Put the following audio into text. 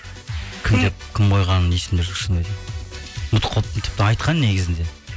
кім қойғаны есімде жоқ шынымды айтайын ұмытып қалыппын тіпті айтқан негізінде